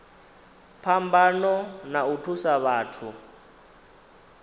phambano na u thusa vhathu